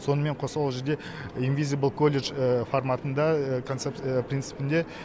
сонымен қоса ол жерде инвизибл колледж форматында консеп принципінде